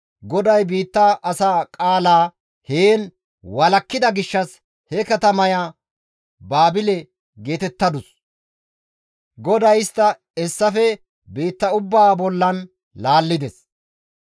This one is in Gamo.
GODAY biitta asaa qaalaa heen walakkida gishshas he katamaya Baabile geetettadus. GODAY istta hessafe biitta ubbaa bollan laallides.